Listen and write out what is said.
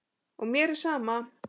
Og mér er sama.